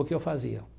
O que eu fazia?